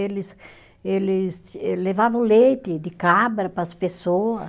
Eles, eles ele levava o leite de cabra para as pessoas.